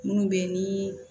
Minnu bɛ yen ni